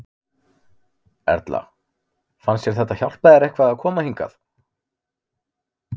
Erla: Fannst þér þetta hjálpa þér eitthvað að koma hingað?